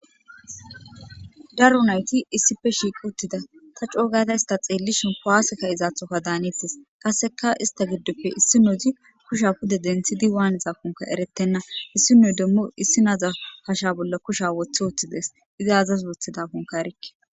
Daro nayti issippe shiqi uttida ta c'u'ugada ista xelishin kuwase ka'izathoka danetes. Qaseka ista gidoppe issinozi kushiya pude denthidi wanizakonka eretena issinoy demo issina hashe bolla kushiya wothi wothide izzi azasi wothidakonka erike.